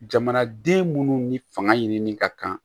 Jamanaden munnu ni fanga ɲinini ka kan